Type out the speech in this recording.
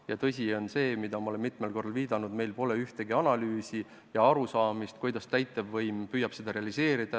Ja tõsi on see, millele ma olen mitmel korral viidanud, et meil pole ühtegi analüüsi ja puudub arusaamine, kuidas täitevvõim püüab seda realiseerida.